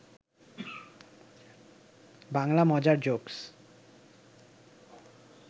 বাংলা মজার জোকস